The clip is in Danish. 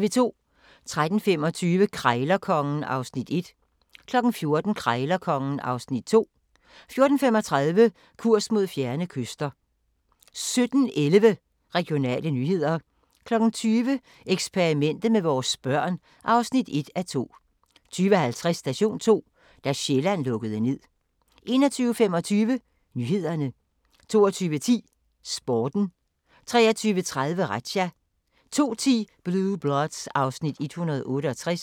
13:25: Krejlerkongen (Afs. 1) 14:00: Krejlerkongen (Afs. 2) 14:35: Kurs mod fjerne kyster 17:11: Regionale nyheder 20:00: Eksperimentet med vores børn (1:2) 20:50: Station 2: Da Sjælland lukkede ned 21:25: Nyhederne 22:10: Sporten 23:30: Razzia 02:10: Blue Bloods (Afs. 168)